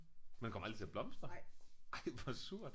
Men den kom aldrig til at blomstre? Ej hvor surt